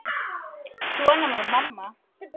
Svona var mamma.